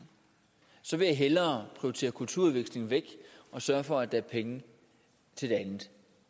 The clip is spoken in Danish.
så vil jeg hellere prioritere kulturudvekslingen væk og sørge for at der er penge til det andet